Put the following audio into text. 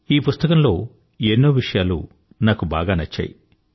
ఈ పుస్తకంలో ఎన్నో విషయాలు నాకు బాగా నచ్చాయి